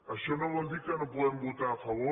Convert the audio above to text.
això no vol dir que no puguem votar a favor